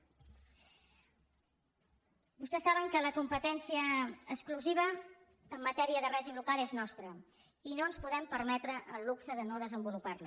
vostès saben que la competència exclusiva en matèria de règim local és nostra i no ens podem permetre el luxe de no desenvolupar la